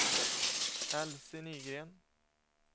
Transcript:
Elsie Nygren